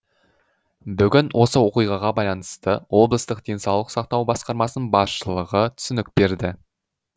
бүгін осы оқиғаға байланысты облыстық денсаулық сақтау басқармасының басшылығы түсінік берді